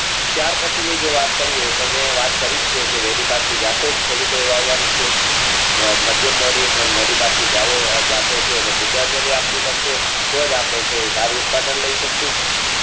ત્યાર પછીની જે વાત કરીયે તો મેં વાત કરી જ છે કે વહેલી પાટથી જતો જ ખેડૂતોએ વાવવાની છે ને માધ્યમ મોદી જતો છે એને શ્રદ્ધાંજલિ આપવી પડશે તેજ આપણે છે જળ ઉત્પાદન લાય શકશે